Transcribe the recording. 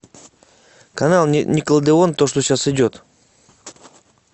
канал никелодеон то что сейчас идет